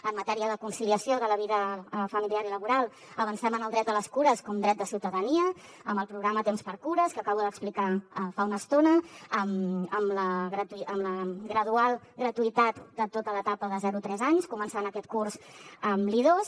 en matèria de conciliació de la vida familiar i laboral avancem en el dret a les cures com a dret de ciutadania amb el programa tempsxcures que acabo d’explicar fa una estona amb la gradual gratuïtat de tota l’etapa de zero a tres anys començant aquest curs amb l’i2